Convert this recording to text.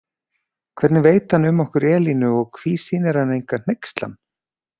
Hvernig veit hann um okkur Elínu og hví sýnir hann enga hneykslan?